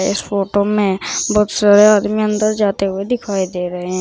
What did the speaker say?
इस फोटो में बहुत सारे आदमी अंदर जाते हुए दिखाई दे रहे हैं।